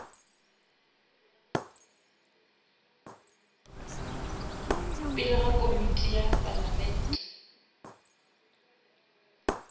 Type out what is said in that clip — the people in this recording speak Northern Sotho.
pele ga komiti ya palamente